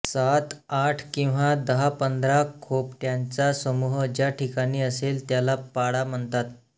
सात आठ किंवा दहापंधरा खोपटयांचा समूह ज्या ठिकाणी असेल त्याला पाडा म्हणतात